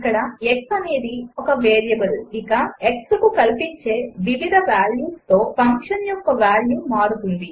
ఇక్కడ x అనేది ఒక వేరియబుల్ ఇక xకు కల్పించే వివిధ వాల్యూస్ తో ఫంక్షన్ యొక్క వాల్యూ మారుతుంది